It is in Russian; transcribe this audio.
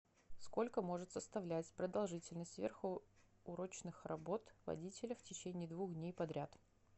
сколько может составлять продолжительность сверхурочных работ водителя в течение двух дней подряд